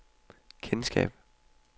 kendskab